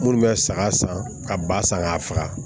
Minnu bɛ saga san ka ba san k'a faga